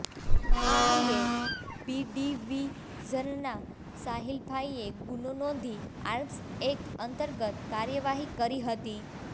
આ અંગે બીડીવીઝનનાં સાહીલભાઈએ ગુનો નોંધી આર્મ્સ એક્ટ અંતર્ગત કાર્યવાહી કરી હતી